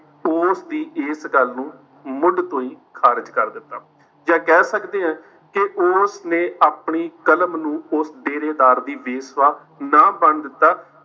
ਉਸ ਦੀ ਇਸ ਗੱਲ ਨੂੰ ਮੁੱਢ ਤੋਂ ਹੀ ਖਾਰਿਜ ਕਰ ਦਿੱਤਾ ਜਾਂ ਕਹਿ ਸਕਦੇ ਹਾਂ ਕਿ ਉਸ ਨੇ ਆਪਣੀ ਕਲਮ ਨੂੰ ਉਸ ਡੇਰੇਦਾਰ ਦੀ ਨਾ ਬਣਨ ਦਿੱਤਾ।